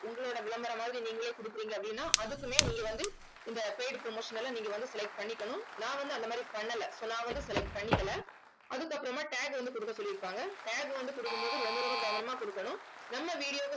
உங்களோட விளம்பரம் மாதிரி நீங்களே கொடுக்குறீங்க அப்படின்னா அதுக்குமே நீங்க வந்து இந்த paid promotion எல்லாம் நீங்க வந்து select பண்ணிக்கணும் நான் வந்து அந்த மாதிரி பண்ணலை so நான் வந்து select பண்ணிக்கலை அதுக்கப்புறமா tag வந்து கொடுக்க சொல்லிருப்பாங்க tag வந்து கொடுக்கும் போது ரொம்ப ரொம்ப கவனமா கொடுக்கணும் நம்ம video